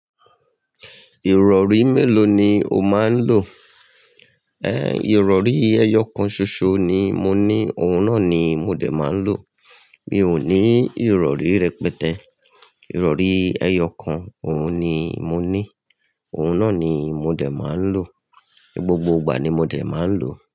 Ìrọ̀rí mélòó ni o máa ń lò? Ẹ, ìrọ̀rí ẹyọ kan ṣoṣo ni mo ní, òun náà ni mo dé máa ń lò. Mi ò ní ìrọ̀rí rẹpẹtẹ. Ìrọ̀rí ẹyọ kan, òun ni mo ní. Òun náà ni mo dé máa ń lò. Ni gbogbo ìgbà ni mo dé máa ń lò.